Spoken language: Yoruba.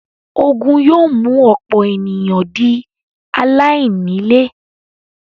Ogun yóò mú ọ̀pọ̀ ènìyàn di “ aláìní-ilé”.